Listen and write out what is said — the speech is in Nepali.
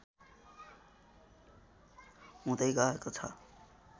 हुँदै गएको छ